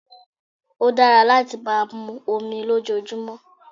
Ó dára láti máa mu omi lójoojúmọ́